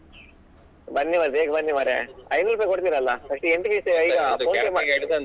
ಬನ್ನಿ ಮರ್ರೆ ಬೇಗ ಬನ್ನಿ ಮಾರೆ ಐನೂರು ರೂಪಾಯಿ ಕೊಡ್ತಿರಲ್ಲಾ entry fees